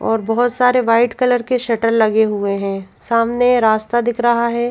और बहोत सारे व्हाइट कलर के शटर लगे हुए है सामने रास्ता दिख रहा है।